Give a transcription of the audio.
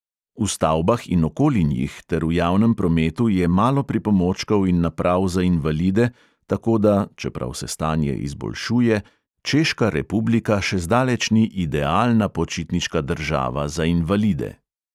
V stavbah in okoli njih ter v javnem prometu je malo pripomočkov in naprav za invalide, tako da (čeprav se stanje izboljšuje) češka republika še zdaleč ni idealna počitniška država za invalide.